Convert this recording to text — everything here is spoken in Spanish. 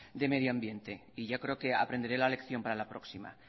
de medio ambiente y yo creo que aprenderé la lección para la próxima